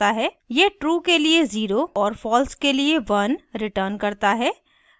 * यह true के लिए zero और false के लिए one returns करता है